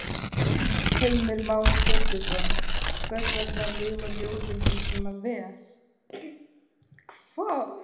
Heimir Már Pétursson: Hvers vegna lifa ljóðin hans svona vel?